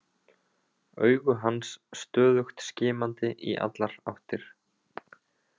Augu hans stöðugt skimandi í allar áttir.